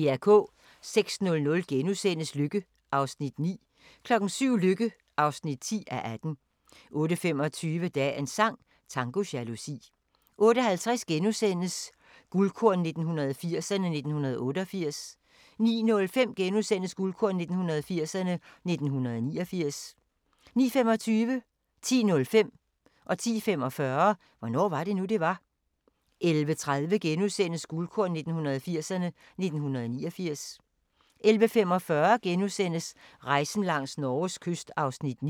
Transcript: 06:00: Lykke (9:18)* 07:00: Lykke (10:18) 08:25: Dagens sang: Tango jalousi 08:50: Guldkorn 1980'erne: 1988 * 09:05: Guldkorn 1980'erne: 1989 * 09:25: Hvornår var det nu, det var? 10:05: Hvornår var det nu, det var? 10:45: Hvornår var det nu, det var? 11:30: Guldkorn 1980'erne: 1989 * 11:45: Rejsen langs Norges kyst (9:10)*